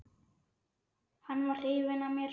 Hann var hrifinn af mér.